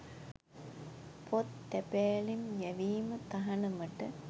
පොත් තැපෑලෙන් යැවීම තහනමට